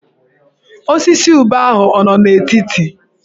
Osisi ube ahụ ọ nọ n'etiti?